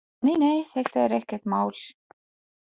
Nei, nei, þetta er ekkert mál.